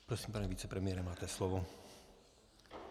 Prosím, pane vicepremiére, máte slovo.